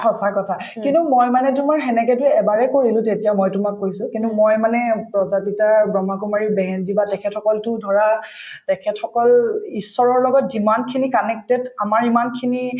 সঁচা কথা কিন্তু মই মানে তোমাৰ সেনেকে যে এবাৰে কৰিলো তেতিয়া মই তোমাক কৈছো কিন্তু মই মানে ব্ৰহ্মকুমাৰীৰ বা তেখেত সকলতো ধৰা তেখেত সকল ঈশ্বৰৰ লগত যিমানখিনি connected আমাৰ ইমানখিনি